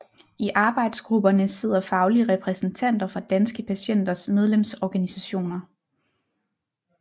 I arbejdsgrupperne sidder faglige repræsentanter fra Danske Patienters medlemsorganisationer